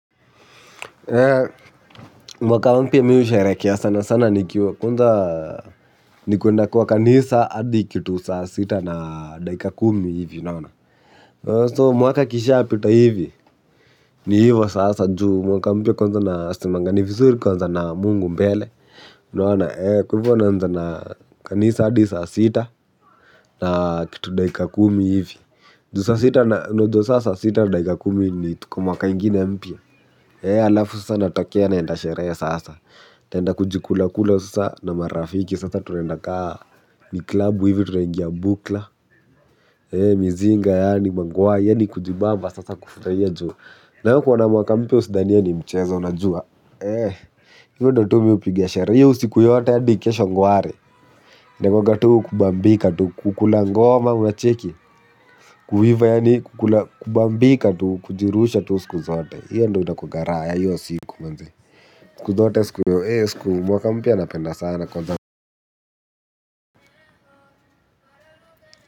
Mwaka mpya mimi husherekea sana sana nikiwa kwanza ni kuenda kwa kanisa hadi kitu saa sita na daika kumi hivi unaona. Mwaka ikisha pita hivi ni hivo sasa ju mwaka mpya kwanza nasemanga ni vizuri kuanza na mungu mbele. Unaona ee kwa hivyo unaanza na kanisa hadi saa sita na kitu daika kumi hivi. Juu sasa sita na unajua sasa saa sita na dakika kumi ni tuko mwaka ingine mpya. Ee alafu sasa natokea naenda sherehe sasa utaenda kujikula kula sasa na marafiki sasa tunaenda kaa ni klabu hivi tunaingia bukla ee mizinga yaani mangwai yaani kujibamba sasa kufurahia juu. Nayo kuwa na mwaka mpya usidhaniye ni mchezo unajua ee hivyo ndio tu mimi hupiga sherehe. Hiyo usiku yote hadi kesho ngware inakuanga tu kubambika tu kukula ngoma unacheki kuiva yaani kukula kubambika tu kujirusha tu siku zote hiyo ndio inakuwanga raha ya hiyo siku manzee siku zote siku oo eh siku. Mwaka mpya napenda sana kwanza.